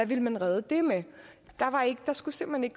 ville man redde det der skulle simpelt